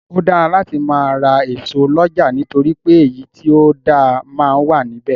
Ó dáa láti máa ra ẹso lọ́jà nítorí pé èyí tí ó dáa máa wà ní bẹ̀.